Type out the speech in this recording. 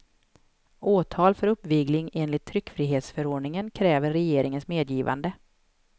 Åtal för uppvigling enligt tryckfrihetsförordningen kräver regeringens medgivande.